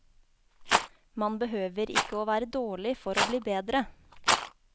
Man behøver ikke å være dårlig for å bli bedre.